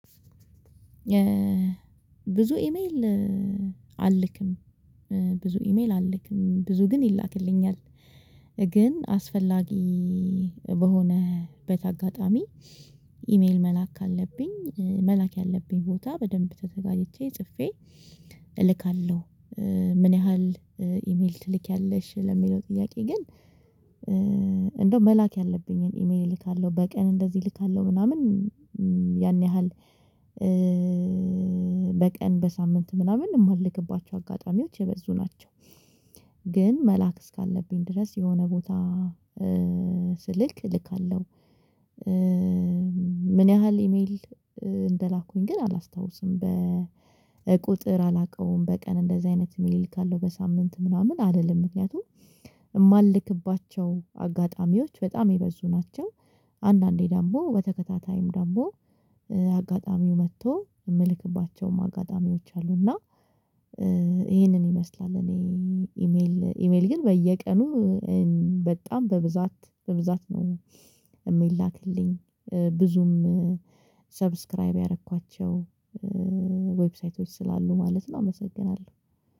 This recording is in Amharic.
ብዙ ኢሜል አልክም። ብዙ ኢሜል አልክም ብዙ ግን ይላክልኛል ግን አስፈላጊ በሆነበት አጋጣሚ ኢሜል መላክ ካለብኝ መላክ ያለብኝ ቦታ በደንብ ተዘጋጅቼ ጽፌ እልካለሁ። ምን ያህል ኢሜል ትልኪያለሽ ለሚለው ጥያቄ ግን? እንደው መላክ ያለብኝን ኢሜል እልካለሁ በቀን እንደዚህ እልካለሁ ምናምን ያን ያህል በቀን በሳምንት ምናምን የምመልከባቸው አጋጣሚዎች የበዙ ናቸው። ግን መላክ እስካለብኝ ድረስ የሆነ ቦታ ስልክ እልካለሁ። ምን ያህል ኢሜል እንደላኩኝ ግን አላስታውስም በቁጥር አላውቀውም። በቀን እንደዚህ አይነት ሚል እልካለው በሳምንት ምናምን አይደለም ምክንያቱም የማልክባቸው አጋጣሚዎች በጣም የበዙ ናቸው። አንዳንዴ ዳም በተከታታይም ዳም አጋጣሚው መጥቶ የምልክባቸውም አጋጣሚዎች አሉ። እና ይሄንን ይመስላል እኔ ኢሜል ኢሜል ግን በየቀኑ በጣም በብዛት በብዛት ነው የሚላክልኝ ብዙም ሰብስክራይብ ያደረኳቸው ዌብሳይቶች ስላሉ ማለት ነው። አመሰግናለሁ